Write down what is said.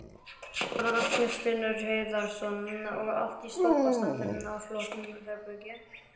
Magnús Hlynur Hreiðarsson: Og allt í toppstandi og flott herbergi?